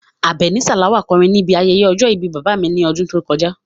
Abeni Salawa kọrin níbi ayẹyẹ ọjọ́ ìbí bàbá mi lọ́dún tó kọjá.